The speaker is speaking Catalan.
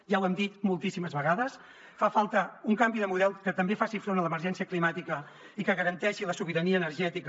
ja ho hem dit moltíssimes vegades fa falta un canvi de model que també faci front a l’emergència climàtica i que garanteixi la sobirania energètica